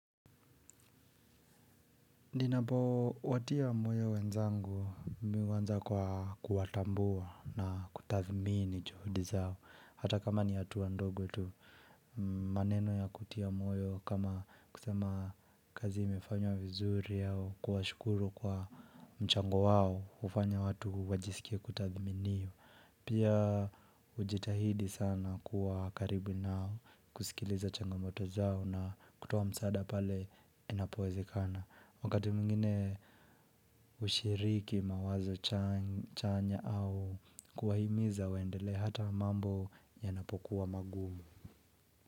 Ninapowatia moyo wenzangu mimi huanza kwa kuwatambua na kutathmini juhudi zao. Hata kama ni hatuwa ndogo tu maneno ya kutia moyo kama kusema kazi imefanywa vizuri au kuwashukuru kwa mchango wao hufanya watu wajisikie kutathiminiwa. Pia hujitahidi sana kuwa karibu nao kusikiliza changamoto zao na kutoa msaada pale inapowezekana. Wakati mwingine kushiriki mawazo chanya au kuwaimiza waendele hata mambo yanapokuwa magumu.